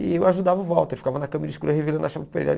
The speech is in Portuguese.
E eu ajudava o Walter, ficava na câmera escura revelando a chapa para ele.